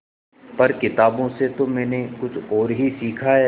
पर किताबों से तो मैंने कुछ और ही सीखा है